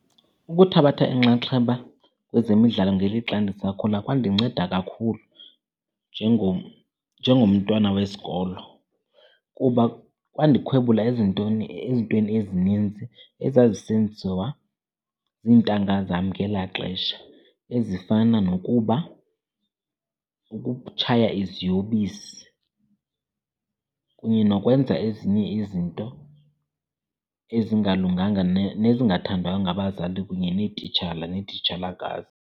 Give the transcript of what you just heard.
Ukuthabatha inxaxheba kwezemidlalo ngelixa ndisakhula kwandinceda kakhulu njengomntwana wesikolo. Kuba kwandikhwebula ezintweni ezininzi ezazisenziwa ziintanga zam ngelaa xesha, ezifana nokuba ukutshaya iziyobisi kunye nokwenza ezinye izinto ezingalunganga nezingathandwayo ngabazali kunye neetitshala neetitshalakazi.